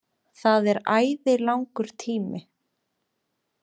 Það er æði langur tími.